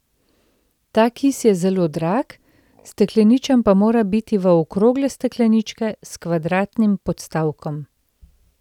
Ta kis je zelo drag, stekleničen pa mora biti v okrogle stekleničke s kvadratnim podstavkom.